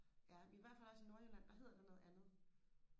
ja i hvert fald også i nordjylland der hedder det noget andet